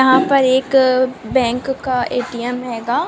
यहाँ पर एक बैंक का ए_टी_एम हैगा